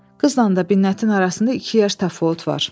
Qızla Binnətin arasında iki yaş təfavüt var.